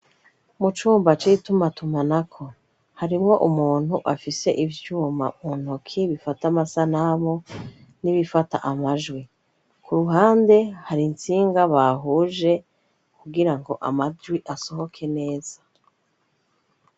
Mu cumba ci ibitumatuma na ko harimwo umuntu afise ivyuma untoki bifata amasa namo n'ibifata amajwi ku ruhande hari intsinga bahuje kugira ngo amajwi asohoke neza.